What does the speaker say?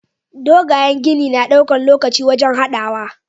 Dogayen gini na ɗaukan lokaci wajan hadawa